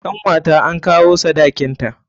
Kanwata an kawo sadakin ta.